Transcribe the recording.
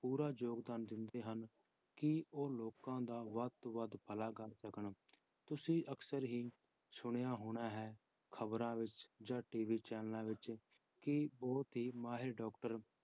ਪੂਰਾ ਯੋਗਦਾਨ ਦਿੰਦੇ ਹਨ ਕਿ ਉਹ ਲੋਕਾਂ ਦਾ ਵੱਧ ਤੋਂ ਵੱਧ ਭਲਾ ਕਰ ਸਕਣ, ਤੁਸੀਂ ਅਕਸਰ ਹੀ ਸੁਣਿਆ ਹੋਣਾ ਹੈ ਖ਼ਬਰਾਂ ਵਿੱਚ ਜਾਂ TV channels ਵਿੱਚ ਕਿ ਬਹੁਤ ਹੀ ਮਾਹਿਰ doctor